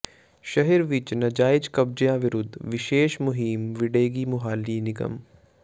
ਸ਼ਹਿਰ ਵਿੱਚ ਨਾਜਾਇਜ਼ ਕਬਜ਼ਿਆਂ ਵਿਰੁੱਧ ਵਿਸ਼ੇਸ਼ ਮੁਹਿੰਮ ਵਿੱਢੇਗੀ ਮੁਹਾਲੀ ਨਿਗਮ